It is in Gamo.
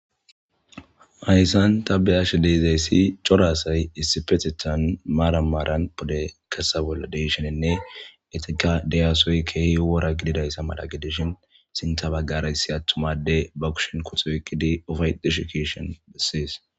hayssan ta beyashe deezayssi coraassay issipetetan maaramaaran bode kasawel deshenenne etika diyasoy keehi wora gididayssa mala gidishin sinta baggarayssi attumade ba ukushon kotooykkidi ofay deshikeshon desseys